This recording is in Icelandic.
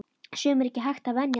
Sumu er ekki hægt að venjast.